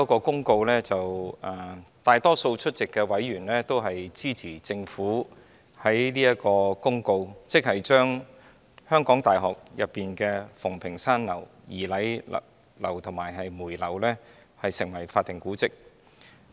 大多數出席委員均支持政府的公告，即是將香港大學的馮平山樓、儀禮堂及梅堂列為法定古蹟。